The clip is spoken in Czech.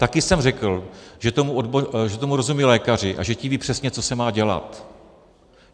Taky jsem řekl, že tomu rozumějí lékaři a že ti vědí přesně, co se má dělat.